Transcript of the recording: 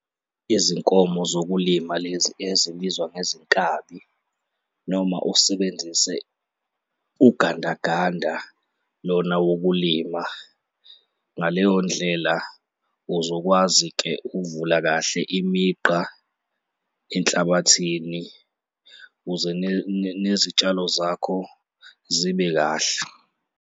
Izinkomo zokulima lezi ezibizwa ngezinkabi noma usebenzise ugandaganda lona wokulima. Ngaleyo ndlela, uzokwazi-ke uvula kahle imigqa enhlabathini ukuze nezitshalo zakho zibe kahle.